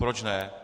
Proč ne.